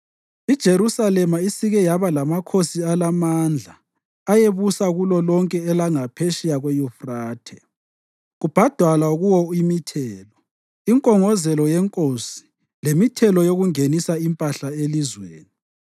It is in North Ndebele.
IJerusalema isike yaba lamakhosi alamandla ayebusa kulolonke elangaphetsheya kweYufrathe, kubhadalwa kuwo imithelo, inkongozelo yenkosi lemithelo yokungenisa impahla elizweni.